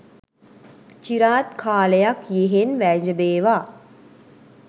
චිරාත් කාලයක් යෙහෙන් වැජඹේවා